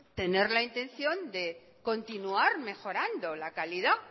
tener la intención de continuar mejorando la calidad